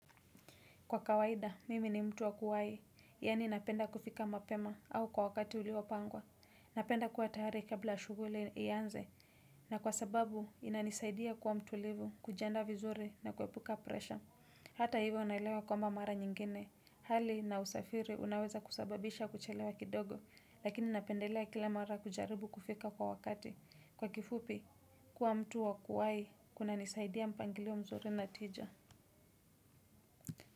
Kwa kawaida, mimi ni mtu wa kuwai, yani napenda kufika mapema au kwa wakati uliopangwa. Napenda kuwa tayari kabla shuguli ianze, na kwa sababu inanisaidia kuwa mtulivu, kujiandaa vizuri na kuepuka presha. Hata hivyo naelewa kwamba mara nyingine. Hali na usafiri unaweza kusababisha kuchelewa kidogo, lakini napendelea kila mara kujaribu kufika kwa wakati. Kwa kifupi kuwa mtu wa kuwahi kunanisaidia mpangilio mzuri na tija.